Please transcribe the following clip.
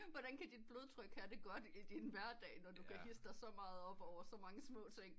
Hvordan kan dit blodtryg have det godt i din hverdag når du kan hidse dig så meget op over så små ting